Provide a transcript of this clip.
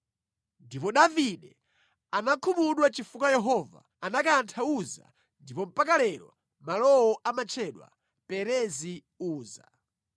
Ndipo Davide anakhumudwa chifukwa Yehova anakantha Uza ndipo mpaka lero malowo amatchedwa Perezi Uza.